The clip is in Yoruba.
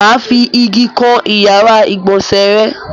Mà á fi igi kan ìyàrá-ìgbọ̀nsẹ̀ rẹ.